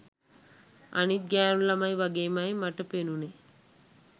අනිත් ගෑණු ළමයි වගේමයි මට පෙණුනෙ.